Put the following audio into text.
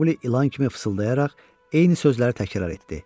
Maquli ilan kimi fısıldayaraq eyni sözləri təkrar etdi.